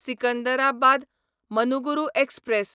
Secunderabad Manuguru express